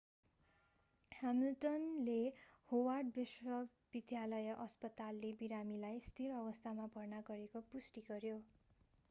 ह्यामिल्टनले Howard विश्वविद्यालय अस्पतालले विरामीलाई स्थिर अवस्थामा भर्ना गरेको पुष्टि गर्‍यो।